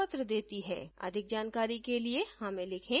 अधिक जानकारी के लिए हमें लिखें